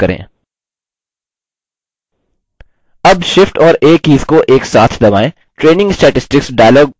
अब shift और a keys को एक साथ दबाएँ training statistics dialog प्रदर्शित होता है